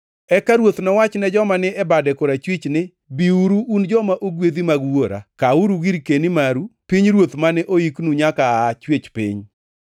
“Eka Ruoth nowach ne joma ni e bade korachwich ni, ‘Biuru, un joma ogwedhi mag Wuora; kawuru girkeni maru, pinyruoth mane oiknu nyaka aa chwech piny.